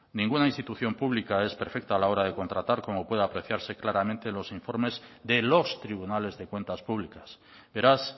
ninguna institución pública es perfecta a la hora de contratar como puede apreciarse claramente en los informes de los tribunales de cuentas públicas beraz